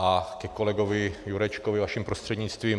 A ke kolegovi Jurečkovi vaším prostřednictvím.